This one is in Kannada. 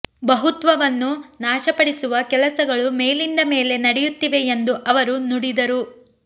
ಬಹುತ್ವವನ್ನು ನಾಶಪಡಿಸುವ ಕೆಲಸಗಳು ಮೇಲಿಂದ ಮೇಲೆ ನಡೆಯುತ್ತಿವೆ ಎಂದು ಅವರು ನುಡಿದರು